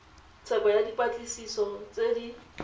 tsheko ya dipatlisiso tse di